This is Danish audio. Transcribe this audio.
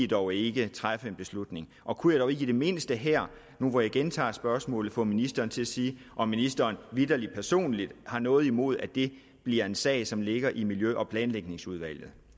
dog ikke træffe en beslutning og kunne jeg dog ikke i det mindste her hvor jeg gentager spørgsmålet få ministeren til at sige om ministeren vitterlig personligt har noget imod at det bliver en sag som ligger i miljø og planlægningsudvalget